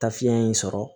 Ta fiɲɛ in sɔrɔ